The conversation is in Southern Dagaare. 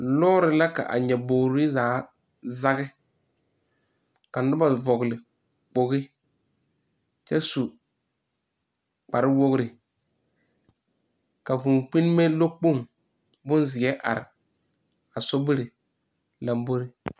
Lɔɔre la k,a nyɔbogri zaa zage ka noba vɔgle kpogi kyɛ su kparewogri ka vūū kpinnime lɔɔkpoŋ bonzeɛ are a sobiri lambori.